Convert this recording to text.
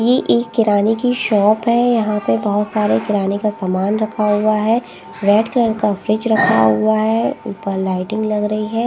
ये एक किराने की शॉप है यहां पे बहुत सारे किराने का सामान रखा हुआ है रेड कलर का फ्रिज रखा हुआ है ऊपर लाइटिंग लग रही है।